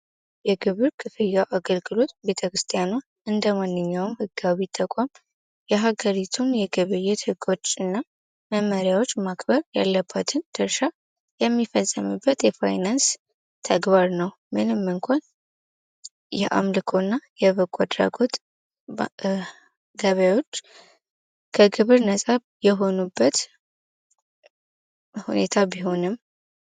የግብር ክፍያ አገልግሎት ቤተክርስቲያኗ እንደ ተቋም የሀገሪቱን የግብይት ህጎችና መመሪያዎች ማክበር ያለበትን ትርሽ የሚፈጸመበት የፋይናንስ ተግባር ነው ምንም እንኳን ደህና አምልኮና የበጎ አድራጎት ገቢዎች ከክብር ነፃ የሆኑበት ሁኔታ ቢሆንም